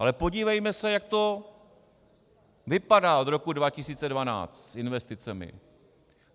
Ale podívejme se, jak to vypadá od roku 2012 s investicemi.